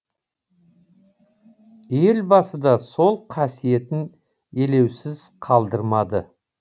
елбасы да сол қасиетін елеусіз қалдырмады